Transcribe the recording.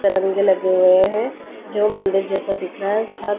तरंगे लगे हुए हैं जो मंदिर जैसा दिख रहा है हर --